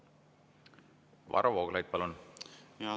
Varro Vooglaid, palun!